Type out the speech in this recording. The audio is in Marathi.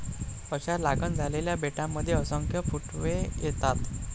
अशा लागण झालेल्या बेटांमध्ये असंख्य फुटवे येतात.